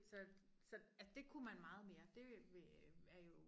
Så så at det kunne man meget mere det vil øh er jo